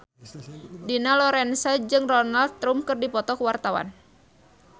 Dina Lorenza jeung Donald Trump keur dipoto ku wartawan